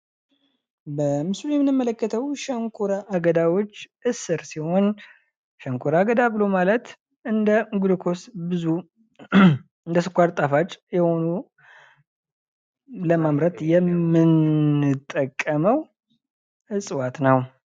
በምስሉ ላይ የምንመለከተው ሸንኮራ አገዳወች እስር ሲሆን ሸንኮራ አገዳ ብሎ ማለት እንደ ግሉኮስ ብዙ እንደ ስኳር ጣፋጭ የሆኑ ለማምረት የምንጠቀመው ዕፅዋት ነው።